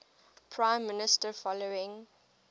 prime minister following